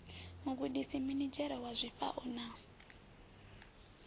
mugudisi minidzhere wa zwifhao na